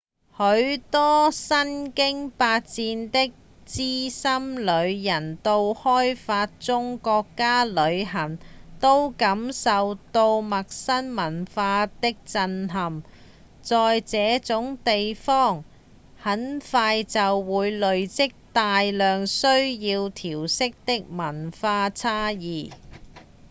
許多身經百戰的資深旅人到開發中國家旅行都感受過陌生文化的震撼在這種地方很快就會累積大量需要調適的文化差異